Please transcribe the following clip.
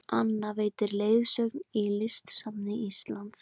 Anna veitir leiðsögn í Listasafni Íslands